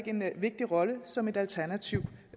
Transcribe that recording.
en vigtig rolle som et alternativ